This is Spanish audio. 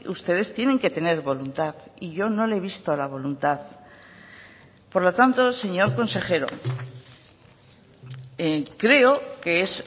ustedes tienen que tener voluntad y yo no le he visto la voluntad por lo tanto señor consejero creo que es